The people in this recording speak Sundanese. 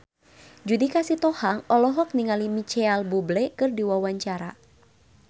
Judika Sitohang olohok ningali Micheal Bubble keur diwawancara